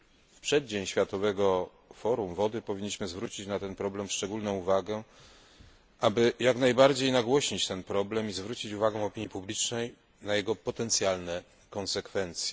W przeddzień Światowego Forum Wody powinniśmy zwrócić na ten problem szczególną uwagę, aby jak najbardziej nagłośnić ten problem i zwrócić uwagę opinii publicznej na jego potencjalne konsekwencje.